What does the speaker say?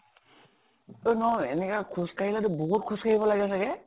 নহয় । এনেকে খোজ কাঢ়ি যদি বহুত খোজ কাঢ়িব লাগে চাগে ?